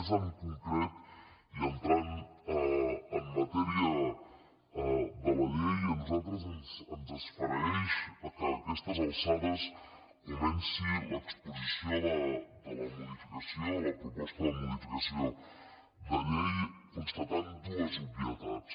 més en concret i entrant en matèria de la llei a nosal·tres ens esfereeix que aquestes alçades comenci l’expo·sició de la modificació la proposta de modificació de llei constatant dues obvietats